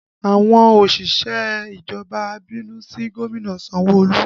Àwọn òṣìṣẹ́ ìjọba ń bínú sí gómìnà Sanwo Olu